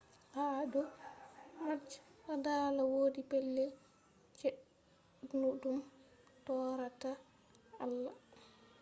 ha doo majdalaa woodi pelel chenudum torata allah